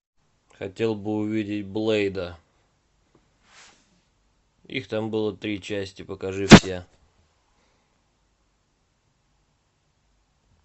хотел бы увидеть блэйда их там было три части покажи все